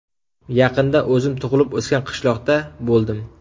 Yaqinda o‘zim tug‘ilib o‘sgan qishloqda bo‘ldim.